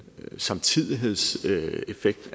samtidighedseffekt